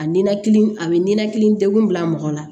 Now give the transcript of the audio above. A ninakili a bɛ ninakili degun bila mɔgɔ la